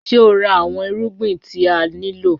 Ṣe o ra awọn irugbin ti a nilo?